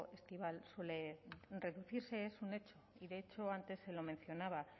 estival suele reducirse es un hecho y de hecho antes se lo mencionaba